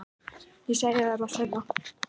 Ég segi þér það seinna.